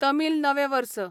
तमील नवें वर्स